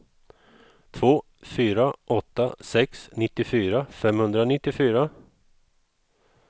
två fyra åtta sex nittiofyra femhundranittiofyra